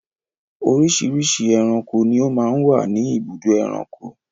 Oríṣiríṣi ẹranko ni ó máa ń wà ní ibùdó ẹranko.